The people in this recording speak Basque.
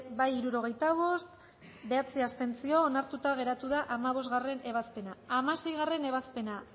bozka hirurogeita bost boto aldekoa bederatzi abstentzio onartuta geratu da hamabostgarrena ebazpena hamaseigarrena ebazpena